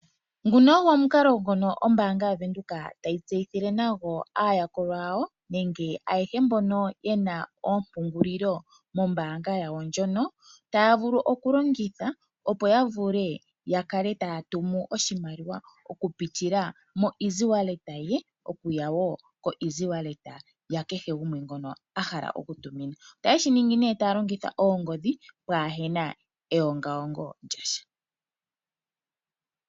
Nguno ogo omukalo ngono ombaanga yaVenduka tayi tseyithile nago aayakulwa yawo nenge ayehe mbono ye na oompungulilo mombaanga yawo ndjono taya vulu okulongitha opo ya kale taya vulu okutuma oshimaliwa okupitila mongodhi, okuza kongodhi yomutumi okuya kongodhi ya nakutuminwa. Otaye shi ningi nduno taya longitha oongodhi pwaa he na eongaongo lya sha.